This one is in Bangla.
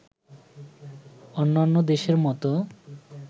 অন্যান্য দেশের মতো